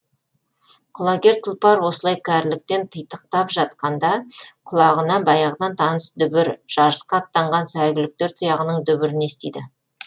құлагер тұлпар осылай кәріліктен титықтап жатқанда құлағына баяғыдан таныс дүбір жарысқа аттанған сәйгүліктер тұяғының дүбірін естиді